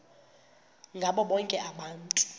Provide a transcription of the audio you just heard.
ngabo bonke abantu